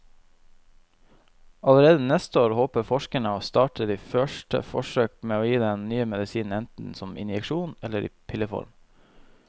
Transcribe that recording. Allerede neste år håper forskerne å starte de første forsøk med å gi den nye medisinen enten som injeksjon eller i pilleform.